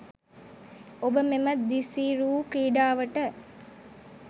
ඔබ මෙම දිසිරූ ක්‍රීඩාවට